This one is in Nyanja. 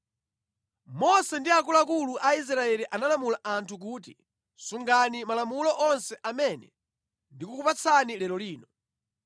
Mose ndi akuluakulu a Israeli analamula anthu kuti, “Sungani malamulo onse amene ndikukupatsani lero lino.